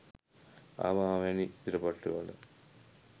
අබා වැනි චිත්‍රපටිවල